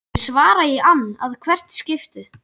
Ég svara í ann að hvert skipti.